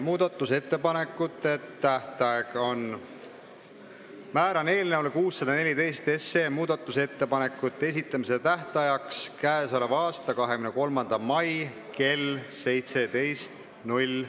Määran eelnõu 614 muudatusettepanekute esitamise tähtajaks k.a 23. mai kell 17.